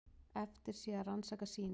Eftir sé að rannsaka sýnin.